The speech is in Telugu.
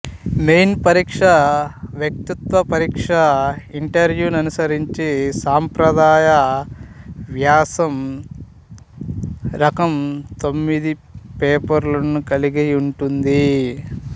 మెయిన్ పరీక్ష వ్యక్తిత్వ పరీక్ష ఇంటర్వూ ననుసరించి సంప్రదాయ వ్యాసం రకం తొమ్మిది పేపర్లను కలిగి ఉంటుంది